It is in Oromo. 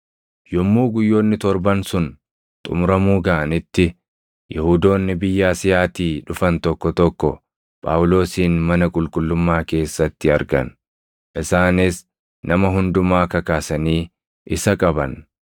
Yommuu guyyoonni torban sun xumuramuu gaʼanitti Yihuudoonni biyya Asiyaatii dhufan tokko tokko Phaawulosin mana qulqullummaa keessatti argan. Isaanis nama hundumaa kakaasanii isa qaban.